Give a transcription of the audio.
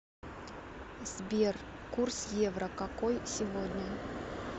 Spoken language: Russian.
сбер курс евро какой сегодня